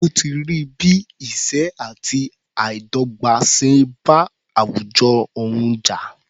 Ó ti rí bí ìṣẹ́ àti àìdọ́gbà ṣe bá àwùjọ òun jà.